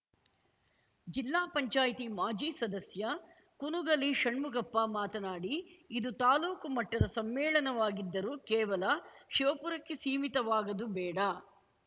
ಜಿಲ್ಲಾ ಪಂಚಾಯತಿ ಮಾಜಿ ಸದಸ್ಯ ಕುನುಗಲಿ ಷಣ್ಮುಗಪ್ಪ ಮಾತನಾಡಿ ಇದು ತಾಲೂಕು ಮಟ್ಟದ ಸಮ್ಮೇಳನವಾಗಿದ್ದರೂ ಕೇವಲ ಶಿವಪುರಕ್ಕೆ ಸೀಮಿತವಾಗದು ಬೇಡ